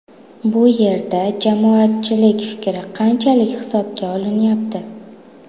Bu yerda jamoatchilik fikri qanchalik hisobga olinyapti?